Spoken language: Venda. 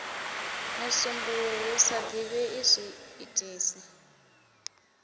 musumbuluwo hu sa ḓivhei zwiitisi